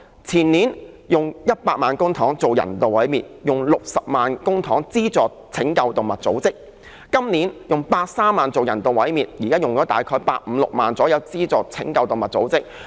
前年用了100萬元公帑進行人道毀滅，用了60萬元公帑資助拯救動物組織；今年用130萬元進行人道毀滅，現時用了大約160萬元資助拯救動物組織。